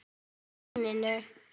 Á túninu.